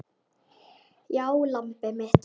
Já, lambið mitt.